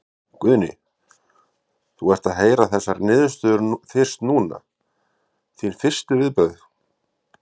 Guðni, þú ert að heyra þessa niðurstöðu fyrst núna, þín fyrstu viðbrögð?